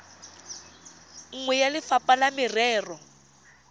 nngwe ya lefapha la merero